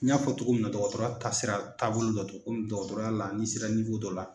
N y'a fɔ cogo min na dɔgɔtɔrɔya taasira taabolo dɔ dɔn komi dɔgɔtɔrɔ la ni sera dɔ la,